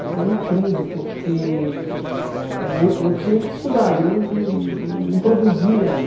Até uma crise, porque eh eu eu tinha que estudar e eu não não produzia ali.